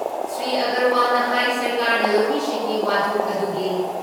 ꯁ꯭ꯔꯤ ꯑꯒꯔꯋꯥꯜꯅ ꯍꯥꯏ ꯁꯔꯀꯥꯔꯅ ꯂꯧꯃꯤꯁꯤꯡꯒꯤ ꯋꯥꯊꯣꯛ ꯑꯗꯨꯒꯤ